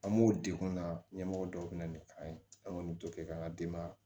An b'o degun na ɲɛmɔgɔ dɔw bɛ na ni an ye an kɔni t'o kɛ k'an ka denbaya